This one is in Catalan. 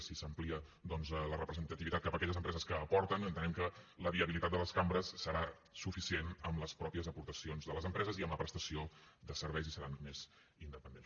si s’amplia doncs la representativitat cap a aquelles empreses que aporten entenem que la viabilitat de les cambres serà suficient amb les mateixes aportacions de les empreses i amb la prestació de serveis i seran més independents